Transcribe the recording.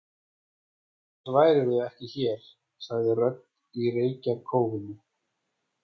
Annars værirðu ekki hér, sagði rödd í reykjarkófinu.